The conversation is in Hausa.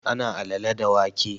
Ana alale da wake